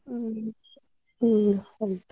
ಹ್ಮ್ ಹ್ಮ್ ಹಾಗೆ.